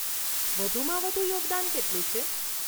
વધુમાં વધુ યોગદાન કેટલું છે?